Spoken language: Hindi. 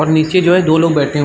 और नीचे जो है दो लोग बैठे --